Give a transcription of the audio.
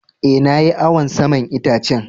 Eh, na yi awon saman itacen.